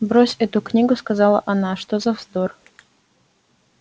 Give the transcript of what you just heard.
брось эту книгу сказала она что за вздор